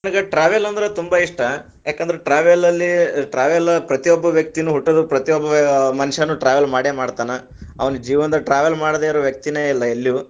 ನನಗ್ travel ಅಂದ್ರ ತುಂಬಾ ಇಷ್ಟ, ಯಾಕಂದ್ರ travel ಅಲ್ಲಿ travel ಪ್ರತಿಯೊಬ್ಬ ವ್ಯಕ್ತಿನೂ ಹುಟ್ಟೋದು ಪ್ರತಿಯೊಬ್ಬ ಮನುಷ್ಯಾನು travel ಮಾಡೆ ಮಾಡ್ತಾನ, ಅವನ್ ಜೀವನದಾಗ travel ಮಾಡದೆ ಇರೋ ವ್ಯಕ್ತಿನೇ ಇಲ್ಲ ಎಲ್ಲಿಯು.